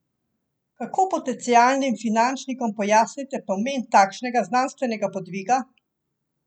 Kako potencialnim finančnikom pojasnite pomen takšnega znanstvenega podviga?